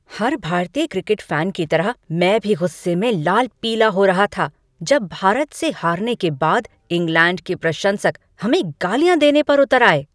हर भारतीय cricket fan की तरह मैं भी गुस्से में लाल पीला हो रहा था जब भारत से हारने के बाद इंग्लैंड के प्रशंसक हमें गालियाँ देने पर उतर आए।